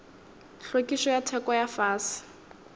hlwekišo ya theko ya fase